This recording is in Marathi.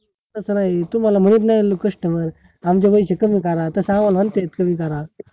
तस नाय तुम्हाला म्हणत नाय customer आमचे पैशे कमी करा तस आम्हाला म्हणते कमी करा